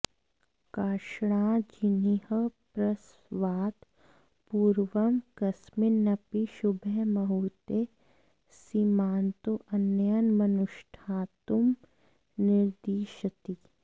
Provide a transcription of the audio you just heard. कार्ष्णाजिनिः प्रसवात् पूर्वं कस्मिन्नपि शुभे मुहूर्त्ते सीमन्तोन्नयनमनुष्ठातुं निर्दिशति